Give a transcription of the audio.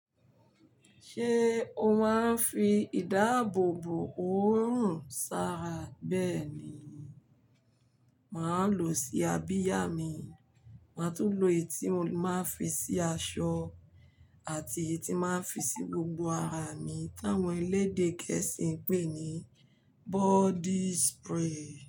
Ṣé o máa ń fi ìdáàbòbò òórùn sara bẹ́ẹ̀ ni, màá lọ sí abiya mi, màá tún lo èyí tí mo máa ń fi sí aṣọ àti èyí tí máa ń fi sí gbogbo ara mi táwọn elédè gẹ̀ẹ́sì ń pè ní body spray.